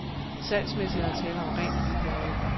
Salgsmæssigt er der tale om rent liebhaveri.